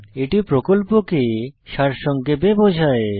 এটি প্রকল্পকে সারসংক্ষেপে বোঝায়